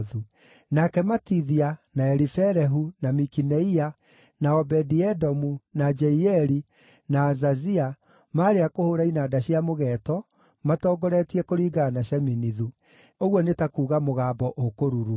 Nake Matithia, na Elifelehu, na Mikineia, na Obedi-Edomu, na Jeieli, na Azazia maarĩ a kũhũũra inanda cia mũgeeto, matongoretie kũringana na Sheminithu (ũguo nĩ ta kuuga mũgambo ũkũruruma).